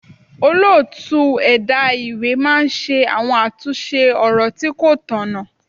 Olóòtú ẹ̀dá ìwé máa ń ṣe àwọn àtúnṣe ọ̀rọ̀ tí kó tọ̀nà.